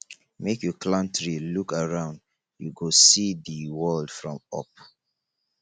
make you climb tree look around you go see di world from up